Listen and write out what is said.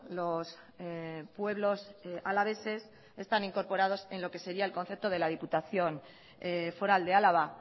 los pueblos alaveses están incorporados en lo que sería el concepto de la diputación foral de álava